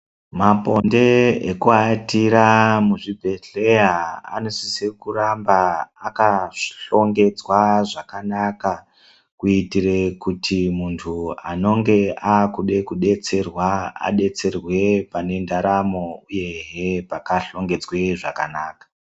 Maponde eku watira mu zvibhedhleya anosise kuramba aka hlongedzwa zvakanaka kuitire kuti muntu anonge akude ku detserwe pane ndaromo uyehe paka hlongedzwe zvakanaka.